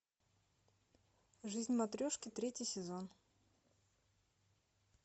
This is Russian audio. жизнь матрешки третий сезон